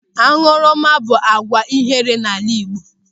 Añụrụma bụ àgwà ihere n'ala Igbo.